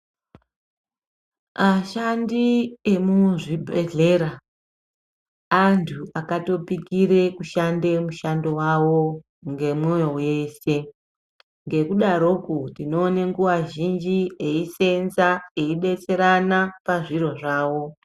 Ashandi emuzvibhehlera antu akatopikire kushanda mushando wawo ngemoyo weshe ngekudaro ko tinoona nguwa zhinji eisenza eidetserana pazviro zvawo.